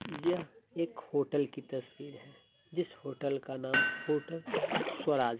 यह एक होटल कि तस्वीर हैं जिस होटल का नाम होटल स्वराज